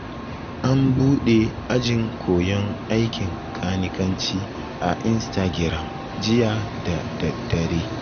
An buɗe ajin koyon aikin kanikanci a instagiram jiya da daddare